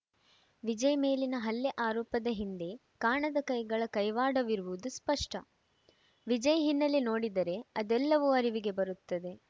ವಿಜಯ್‌ ಮೇಲಿನ ಹಲ್ಲೆ ಆರೋಪದ ಹಿಂದೆ ಕಾಣದ ಕೈಗಳ ಕೈವಾಡವಿರುವುದು ಸ್ಪಷ್ಟ ವಿಜಯ್‌ ಹಿನ್ನೆಲೆ ನೋಡಿದರೆ ಅದೆಲ್ಲವೂ ಅರಿವಿಗೆ ಬರುತ್ತದೆ